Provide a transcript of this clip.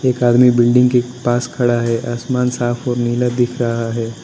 एक आदमी बिल्डिंग के पास खड़ा है आसमान साफ और नीला दिख रहा है।